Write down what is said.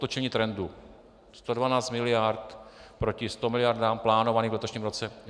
Otočení trendu: 112 miliard proti 100 miliardám, plánovaným v letošním roce.